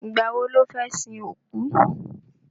Ìgbà wo lọ́ fẹ́ sin òkú?